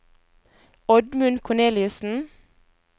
Oddmund Korneliussen